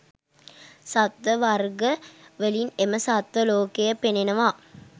සත්ව වර්ග වලින් එම සත්ව ලෝකය පෙනෙනවා.